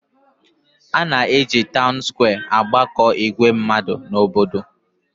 A na-eji taun skwee agbakọ ìgwè mmadụ n'obodo.